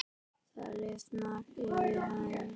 Það lifnar yfir henni.